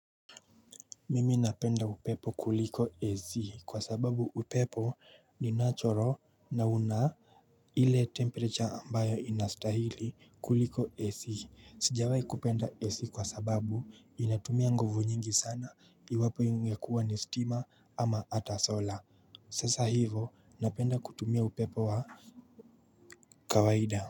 Mimi napenda upepo kuliko AC kwa sababu upepo ni natural na una ile temperature ambayo inastahili kuliko AC. Sijawai kupenda AC kwa sababu inatumia nguvu nyingi sana iwapo ingekuwa ni stima ama hata sola. Sasa hivo napenda kutumia upepo wa kawaida.